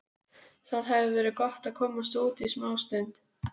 Það hefði verið gott að komast út í smástund.